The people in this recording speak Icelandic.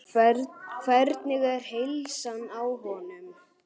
Hvernig er heilsan á honum?